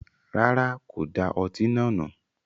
Rárá, kò da ọtí náà nù